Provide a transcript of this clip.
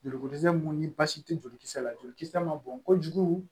Joliko dɛsɛ minnu ni basi tɛ jolikisɛ la joli kisɛ ma bɔn kojugu